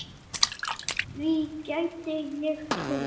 Því gæti ég trúað